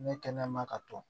Ne kɛnɛ ma ka to